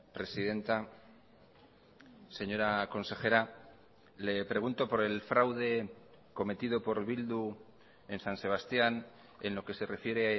presidenta señora consejera le pregunto por el fraude cometido por bildu en san sebastián en lo que se refiere